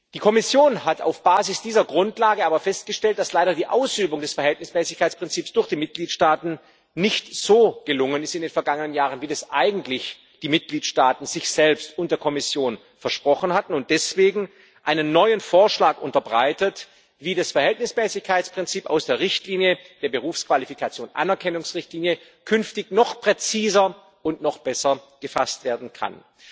Die Kommission hat auf Basis dieser Grundlage aber festgestellt, dass die Ausübung des Verhältnismäßigkeitsprinzips durch die Mitgliedstaaten in den vergangenen Jahren leider nicht so gelungen ist, wie das eigentlich die Mitgliedstaaten sich selbst und der Kommission versprochen hatten, und hat deswegen einen neuen Vorschlag unterbreitet, wie das Verhältnismäßigkeitsprinzip aus der Berufsqualifikationsanerkennungsrichtlinie künftig noch präziser und noch besser gefasst werden kann.